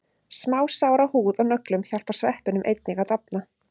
Smásár á húð og nöglum hjálpa sveppunum einnig að dafna.